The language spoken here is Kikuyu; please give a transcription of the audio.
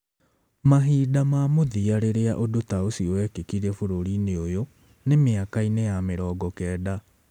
Mahinda ma mũthia rĩrĩa ũndũ ta ũcio wekĩkire bũrũri-inĩ ũyũ nĩ mĩaka-inĩ yamĩrongo kenda.